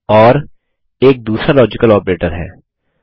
ओर एक दूसरा logical operator है